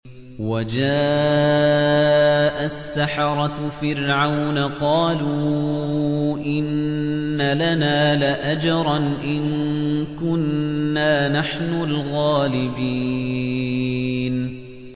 وَجَاءَ السَّحَرَةُ فِرْعَوْنَ قَالُوا إِنَّ لَنَا لَأَجْرًا إِن كُنَّا نَحْنُ الْغَالِبِينَ